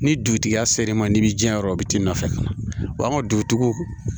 Ni dugutigi ya ser'i ma n'i bi diyan yɔrɔ o t'i nɔfɛ wa an ka dugutigiw